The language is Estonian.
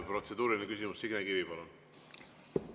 Protseduuriline küsimus, Signe Kivi, palun!